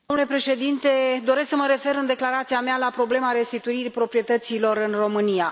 Domnule președinte, doresc să mă refer în declarația mea la problema restituirii proprietăților în România.